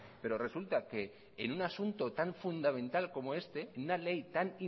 pero resulta que en un asunto tan fundamental como este en una ley tan